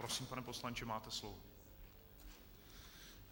Prosím, pane poslanče, máte slovo.